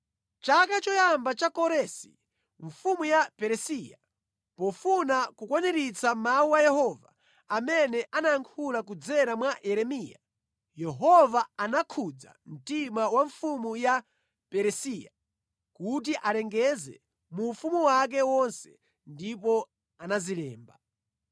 Mʼchaka choyamba cha Koresi mfumu ya Peresiya, pofuna kukwaniritsa mawu a Yehova amene anayankhula kudzera mwa Yeremiya, Yehova anakhudza mtima wa mfumu ya Peresiya kuti alengeze mu ufumu wake wonse ndipo anazilemba: